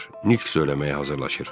Nitq söyləməyə hazırlaşır.